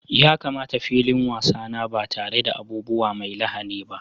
Ya kamata filin wasa na ba tare da abubuwa mai lahani ba.